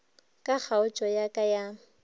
ka kgaotšo ya ka ya